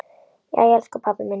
Jæja, elsku pabbi minn.